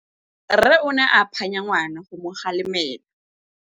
Rre o ne a phanya ngwana go mo galemela.